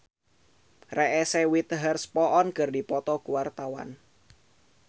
Gilang Ramadan jeung Reese Witherspoon keur dipoto ku wartawan